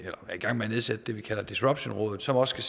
gang med at nedsætte det vi kalder disruptionrådet som også